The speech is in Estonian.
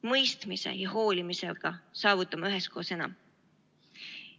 Mõistmise ja hoolimisega saavutame üheskoos enam.